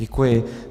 Děkuji.